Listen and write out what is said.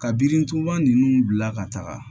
Ka birintuba nunnu bila ka taga